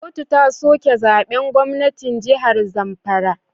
Kotu ta soke zaben gwamnan jihar zamfara